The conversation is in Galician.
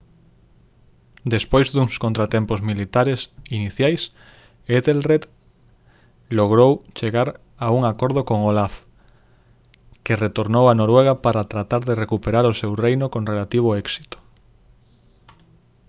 despois duns contratempos militares iniciais ethelred logrou chegar a un acordo con olaf que retornou a noruega para tratar de recuperar o seu reino con relativo éxito